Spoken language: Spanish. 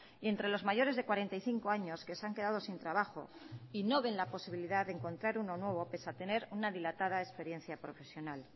y entre los mayores de cuarenta y cinco años que se han quedado sin trabajo y no ven la posibilidad de encontrar uno nuevo pese a tener una dilatada experiencia profesional